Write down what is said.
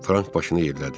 Frank başını yellədi.